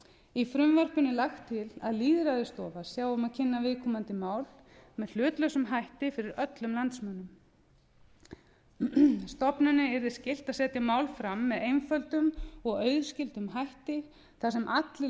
í frumvarpinu er lagt til að lýðræðisstofa sjái um að kynna viðkomandi mál með hlutlausum hætti fyrir öllum landsmönnum stofunni yrði skylt að setja mál fram með einföldum og auðskildum hætti þar sem allir